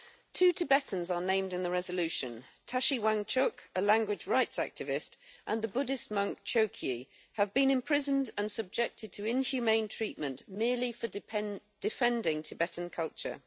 Two Tibetans are named in the resolution Tashi Wangchuk, a language rights activist, and the Buddhist monk Choekyi have been imprisoned and subjected to inhumane treatment merely for defending Tibetan culture.